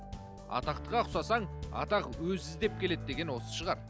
атақтыға ұқсасаң атақ өзі іздеп келеді деген осы шығар